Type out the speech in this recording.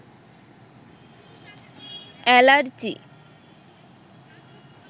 allergy